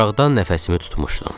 Maraqdan nəfəsimi tutmuşdum.